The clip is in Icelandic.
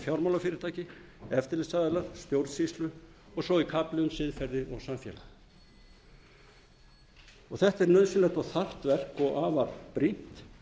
fjármálafyrirtæki eftirlitsaðilar stjórnsýslu og svo í kafli um siðferði og samfélag þetta er nauðsynlegt og þarft verk og afar brýnt